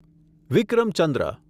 વિક્રમ ચંદ્ર